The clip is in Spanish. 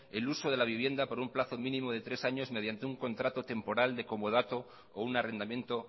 el uso de la vivienda por un plazo mínimo de tres años mediante un contrato temporal de comodato o un arrendamiento